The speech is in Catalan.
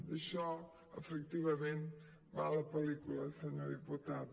d’això efectivament va la pel·lícula senyor diputat